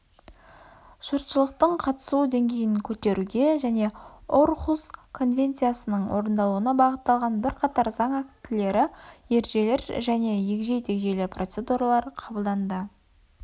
жұртшылықтың қатысуы деңгейін көтеруге және орхусс конвенциясының орындалуына бағытталған бірқатар заң актілері ережелер және егжей-тегжейлі процедуралар қабылданды